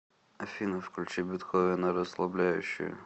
афина включи бетховена расслабляющую